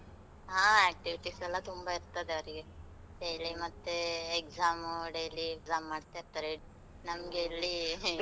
ಹಾ activities ಎಲ್ಲ ತುಂಬಾ ಇರ್ತದೆ ಅವ್ರಿಗೆ, daily ಮತ್ತೇ exam, daily exam ಮಾಡ್ತ ಇರ್ತಾರೆ, ನಮ್ಗೆ ಇಲ್ಲೀ